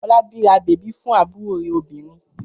Fọlábí ra bèbí fún àbúrò rẹ̀ obìnrin.